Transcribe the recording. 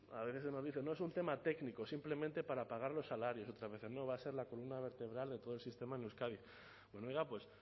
a veces se nos dice no es un tema técnico simplemente para pagar los salarios otras veces no va a ser la columna vertebral de todo el sistema en euskadi bueno oiga pues